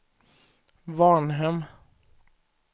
Varnhem